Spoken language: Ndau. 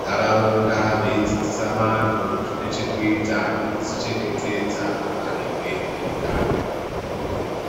nharaunda veidzidzisa vantu zvine zvekuita nekuzvichengetedza maringe neutano.